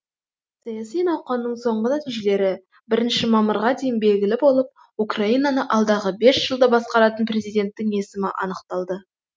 саяси науқанның соңғы нәтижелері бірінші мамырға дейін белгілі болып украинаны алдағы бес жылда басқаратын президенттің есімі анықталады